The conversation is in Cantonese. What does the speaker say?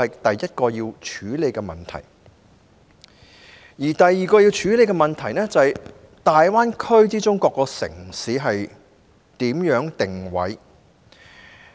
第二個要處理的問題，是如何安排大灣區各個城市的定位。